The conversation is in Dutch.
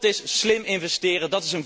Dàt is slim investeren.